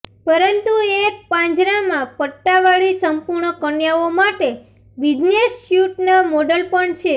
પરંતુ એક પાંજરામાં પટ્ટાવાળી સંપૂર્ણ કન્યાઓ માટે બિઝનેસ સ્યુટના મોડલ પણ છે